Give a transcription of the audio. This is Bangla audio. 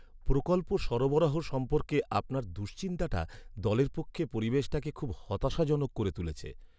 প্রকল্প সরবরাহ সম্পর্কে আপনার দুশ্চিন্তাটা দলের পক্ষে পরিবেশটাকে খুব হতাশাজনক করে তুলেছে।